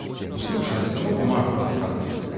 Poslušaj, samo pomagal bi ti rad.